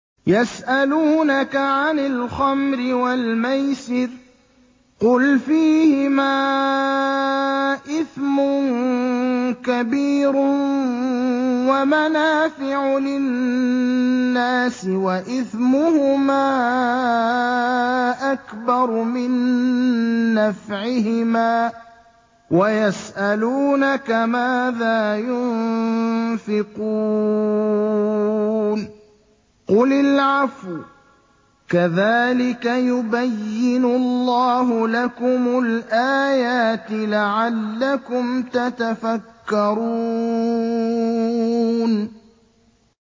۞ يَسْأَلُونَكَ عَنِ الْخَمْرِ وَالْمَيْسِرِ ۖ قُلْ فِيهِمَا إِثْمٌ كَبِيرٌ وَمَنَافِعُ لِلنَّاسِ وَإِثْمُهُمَا أَكْبَرُ مِن نَّفْعِهِمَا ۗ وَيَسْأَلُونَكَ مَاذَا يُنفِقُونَ قُلِ الْعَفْوَ ۗ كَذَٰلِكَ يُبَيِّنُ اللَّهُ لَكُمُ الْآيَاتِ لَعَلَّكُمْ تَتَفَكَّرُونَ